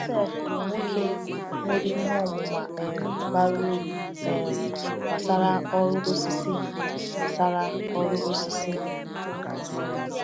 Joseph bụ nwoke nwere ihe ọmụma um bara uru um gbasara ọrụ osisi. gbasara ọrụ osisi.